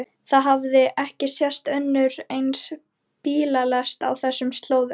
Það hafði ekki sést önnur eins bílalest á þessum slóðum.